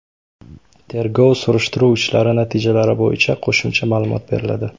Tergov-surishtiruv ishlari natijalari bo‘yicha qo‘shimcha ma’lumot beriladi.